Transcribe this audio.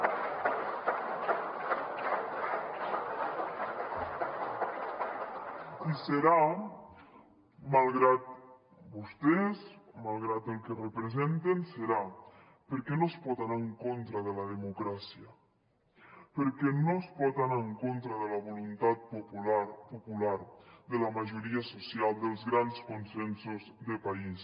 i serà malgrat vostès malgrat el que representen serà perquè no es pot anar en contra de la democràcia perquè no es pot anar en contra de la voluntat popular de la majoria social dels grans consensos de país